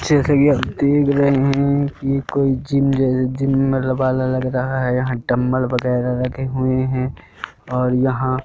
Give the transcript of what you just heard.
जैसे कि आप देख रहे हैं कि ये कोई जिम जैसे जिम मतलब वाला लग रहा है यहां डंबल वगैरह रखे हुए हैं और यहां--